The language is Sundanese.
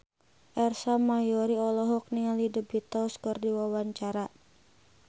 Ersa Mayori olohok ningali The Beatles keur diwawancara